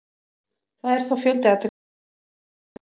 Það er þó fjöldi athyglisverðra leikja um helgina.